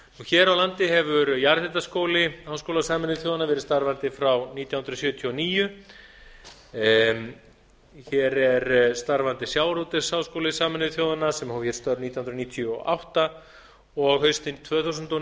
hér á landi hefur jarðhitaskóli háskóla sameinuðu þjóðanna verið starfandi frá nítján hundruð sjötíu og níu hér er starfandi sjávarútvegsskóli sameinuðu þjóðanna sem hóf hér störf nítján hundruð níutíu og átta og haustið tvö þúsund og